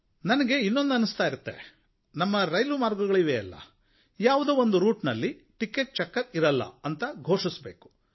ನನಗೆ ಇನ್ನೊಂದು ಅನ್ನಿಸ್ತಾ ಇರುತ್ತೆ ನಮ್ಮ ರೈಲು ಮಾರ್ಗಗಳು ಇವೆಯಲ್ಲ ಯಾವುದಾದರೂ ಒಂದು ರೂಟಿನಲ್ಲಿ ಟಿಕೆಟ್ ಚೆಕ್ಕರ್ ಇರಲ್ಲ ಅಂತ ಘೋಷಣೆ ಮಾಡಿ